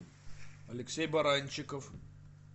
алексей баранчиков